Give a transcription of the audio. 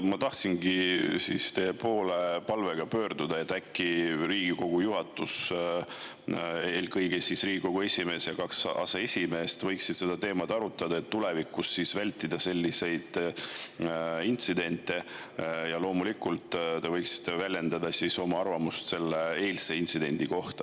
Ma tahtsingi teie poole pöörduda palvega, et äkki Riigikogu juhatus ehk Riigikogu esimees ja kaks aseesimeest võiksid seda teemat arutada, et tulevikus selliseid intsidente vältida, ja te loomulikult võiksite väljendada oma arvamust selle eilse intsidendi kohta.